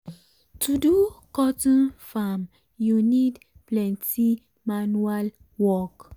to do cotton farm u need plenty manual work.